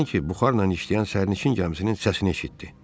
Sanki buxarla işləyən sərnişin gəmisinin səsini eşitdi.